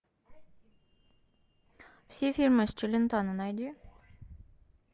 все фильмы с челентано найди